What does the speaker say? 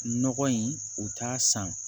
Nɔgɔ in u t'a san